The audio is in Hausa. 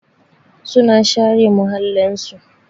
Su na share muhallin su.